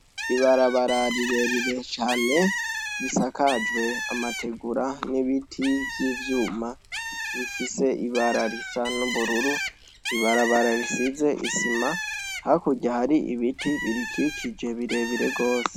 Ibarababara rirerire cane risakajwe amategura n'ibiti vy'ivyuma bifise ibara risa n'ubururu, ibarabara risize isima. Hakurya hari ibiti birikikije birebire gose.